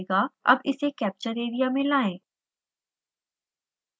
अब इसे capture area में लाएं